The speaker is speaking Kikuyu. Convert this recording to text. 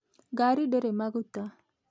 Ngari ndĩrĩ maguta